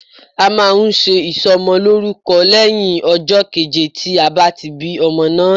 A máa nse ìsò mo lórúko éyìn ijó keje tí a bá ti bí ọmọ náà tán